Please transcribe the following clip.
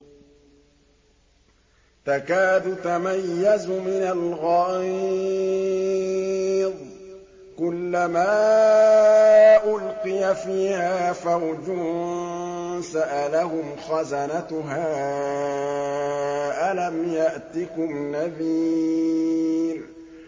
تَكَادُ تَمَيَّزُ مِنَ الْغَيْظِ ۖ كُلَّمَا أُلْقِيَ فِيهَا فَوْجٌ سَأَلَهُمْ خَزَنَتُهَا أَلَمْ يَأْتِكُمْ نَذِيرٌ